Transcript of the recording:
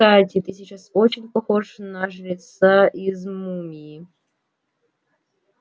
кстати ты сейчас очень похож на жреца из мумии